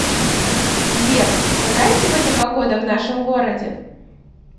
сбер какая сегодня погода в нашем городе